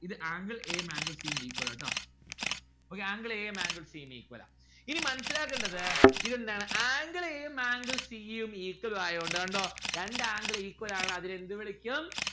ഇത് angle a ഉം angle c ഉം equal ആണ്. ട്ടോ. angle a ഉം angle c ഉം equal ആ ഇനി മനസ്സിലാക്കണ്ടത് ഇതെന്താണ് angle a ഉം angle c ഉം equal ആയോണ്ട് കണ്ടോ രണ്ട്‌ angle ആണ് അതിനെന്തു വിളിക്കും?